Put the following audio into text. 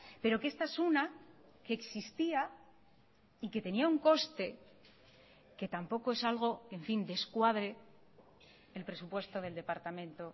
pero que esta es una que existía y que tenía un coste que tampoco es algo en fin descuadre el presupuesto del departamento